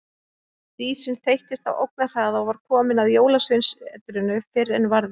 Dísin þeyttist á ógnarhraða og var komin að Jólasveinasetrinu fyrr en varði.